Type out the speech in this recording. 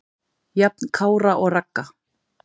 Jafn Kára og Ragga.